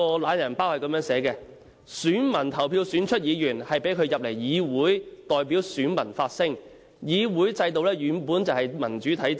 "懶人包"這樣寫："選民投票選出議員，讓他進入議會代表選民發聲，議會制度本來就是民主的體現。